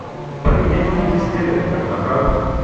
поменять фунты стерлинга на франки